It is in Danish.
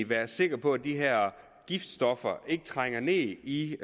være sikker på at de her giftstoffer ikke trænger ned i